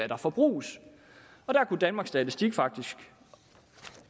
der forbruges og der kunne danmarks statistik faktisk